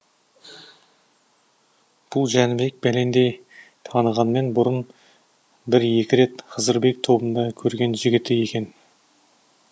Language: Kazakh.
бұл жәнібек бәлендей танымағанмен бұрын бір екі рет хызырбек тобында көрген жігіті екен